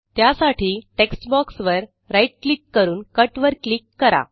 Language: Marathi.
त्यासाठी टेक्स्ट बॉक्स वर right क्लिक करून कट वर क्लिक करा